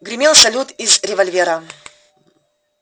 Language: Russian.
гремел салют из револьвера